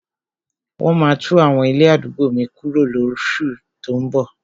Wọ́n maá tún àwọn ilé àdúgbò mi kuro lóṣù tó ún bọ̀.